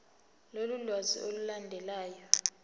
lolu lwazi olulandelayo